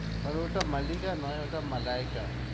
আরে ওটা মাল্লিকা নয় ওটা মালাইকা